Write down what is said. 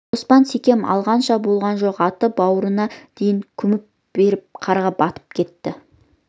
қоспан секем алғанша болған жоқ аты бауырына дейін күмп беріп қарға батып кетті